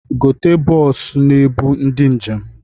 Gote bọọsụ na-ebu ndị njem!